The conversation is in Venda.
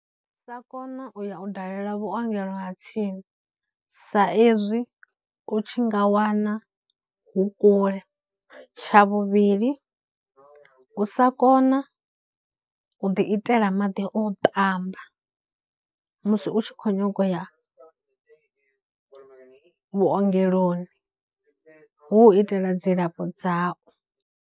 Sa kona u ya u dalela vhuongelo ha tsini sa ezwi u tshi nga wana hu kule, tsha vhuvhili u sa kona u ḓi itela maḓi o ṱamba musi u tshi khou nyaga u ya vhuongeloni hu u itela dzilafho dzau.